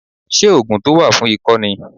Ṣé ògùn tó wà fún ikọ́ ni